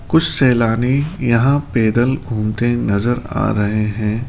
कुछ सैलानी यहां पैदल घूमते नजर आ रहे हैं।